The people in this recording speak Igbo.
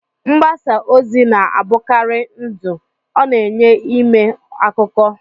Mgbasa ozi na-abụkarị ndụ, ọ na-enye ime akụkọ.